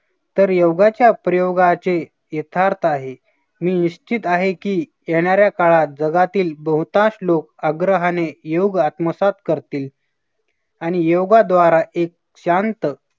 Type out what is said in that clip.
तर योगाच्या प्रयोगाचे यथार्थ आहे मी निश्चित आहे, की येणाऱ्या काळात जगातील बहुतांश लोक आग्रहाने योग आत्मसात करतील. आणि योगाद्वारा एक शांत